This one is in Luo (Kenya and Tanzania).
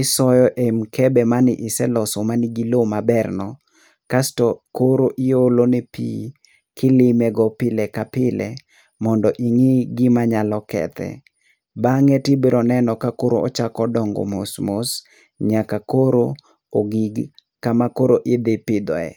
isoyo e mikebe mane ise loso man gi lowo maberno, kas to koro iolo ne pi kilimego pile ka pile, mondo ing'i gima nyalo kethe. Bang'e tibiro neno kakoro ochako dongo mos mos nyaka koro ogik kama koro idhi pidhoe.